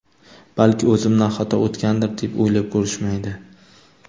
Balki o‘zimdan xato o‘tgandir deb o‘ylab ko‘rishmaydi.